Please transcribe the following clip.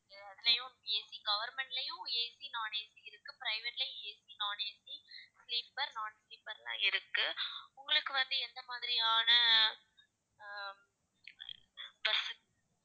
அதுலயும் ACgovernment லயும் AC, non AC இருக்கு private லயும் ACnonACsleeper non sleeper லாம் இருக்கு உங்களுக்கு வந்து, எந்த மாதிரியான அஹ் bus